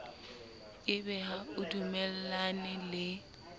ebe ha o dumellane le